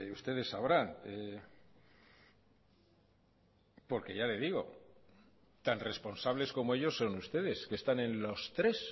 ustedes sabrán porque ya le digo tan responsables como ellos son ustedes que están en los tres